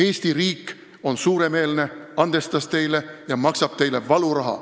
Eesti riik oli suuremeelne, andestas neile ja maksis valuraha.